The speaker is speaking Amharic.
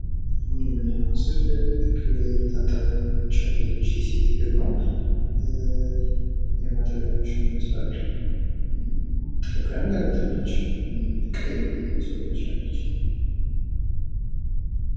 ይህ የምናየው ምስል እየታጠበች ያለች የሴት እግር ነው። የማጠቢያ ማሽን ይመስላል። ጥፍር ቀለም ተቀብታለች። ቀይ ሰው ትመስላለች።